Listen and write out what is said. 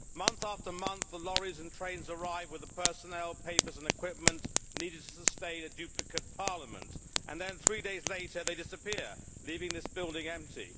Month after month, the lorries and trains arrive with the personnel, papers and equipment needed to sustain a duplicate parliament, and then three days later they disappear, leaving this building empty.